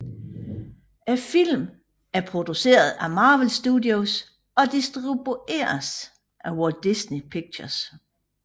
Filmen er produceret af Marvel Studios og distribueres af Walt Disney Pictures